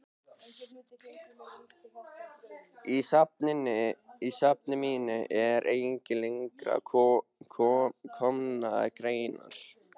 Í safni mínu eru einnig lengra að komnar greinar.